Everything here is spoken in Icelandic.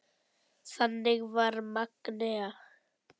Þannig var Magnea.